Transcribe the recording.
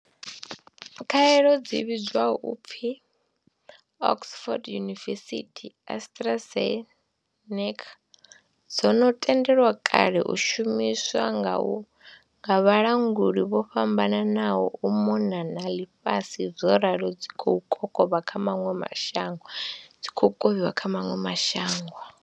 Khaelo dzi vhidzwaho u pfi Oxford University-AstraZe neca dzo no tendelwa kale u shumiswa nga vhalanguli vho fhambananaho u mona na ḽifhasi zworalo dzi khou kovhiwa kha maṅwe ma shango.